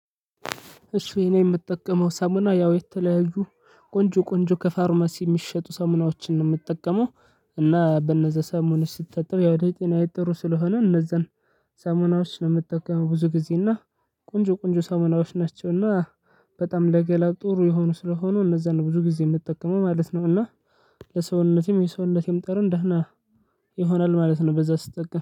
እሺ የኔ የምጠቀመው ሳሙና ያው የተለያዩ ቆንጆ ቆንጆ ከፋርማሲ የሚሸጡ ሰሞናዎችን ነው የምትጠቀመው። እና በነዛ ሳሙናዎች ስጠቀም ያው ለጤናዬ ጥሩ ስለሆነ እነዛን ሰሞናዎችን ነው የምትጠቀመው ብዙ ጊዜ። እና ቆንጆ ቆንጆ ሰሞናዎች ናቸው እና በጣም ለገላ ጥሩ የሆኑ ስለሆኑ እነዛን ነው ብዙ ጊዜ የምትጠቀመው ማለት ነው። እና ለሰውነቴም የሰውነቴም ጠረን ደህና ይሆናል ማለት ነው በዛ ስትጠቀም።